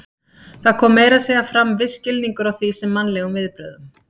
Það kom meira að segja fram viss skilningur á því sem mannlegum viðbrögðum.